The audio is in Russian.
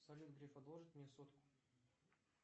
салют греф одолжит мне сотку